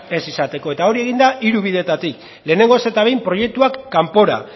ez izateko eta hori egin da hiru bidetatik lehenengoz eta behin proiektuak kanpora